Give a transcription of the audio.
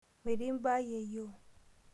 Metii imbaa yeyio.